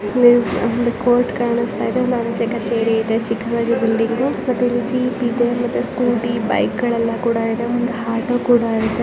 ಇಲ್ಲಿ ಒಂದು ಕೋರ್ಟ್ ಕಾಣಿಸ್ತಾ ಇದೆ ಒಂದು ಅಂಚೆ ಕಚೇರಿ ಇದೆ ಮತ್ತೆ ಇಲ್ಲಿ ಜೀಪ್ ಇದೆ. ಸ್ಕೂಟಿ ಬೈಕ್ಗಳೆಲ್ಲಾ ಇದೆ ಮತ್ತೆ ಆಟೋ ಕೂಡ ಇದೆ .